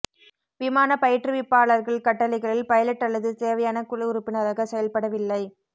விமானப் பயிற்றுவிப்பாளர்கள் கட்டளைகளில் பைலட் அல்லது தேவையான குழு உறுப்பினராக செயல்படவில்லை